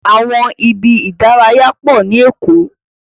Àwọn ibi ìdárayá pọ ni Èkó.